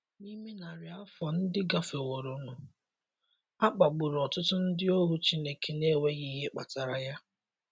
N'ime narị afọ ndị gafeworonụ, a kpagburu ọtụtụ ndị ohu Chineke n'enweghị ihe kpatara ya.